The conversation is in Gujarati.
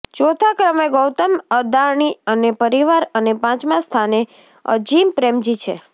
ચોથા ક્રમે ગૌતમ અદાણી અને પરિવાર અને પાંચમા સ્થાને અજિમ પ્રેમજી છે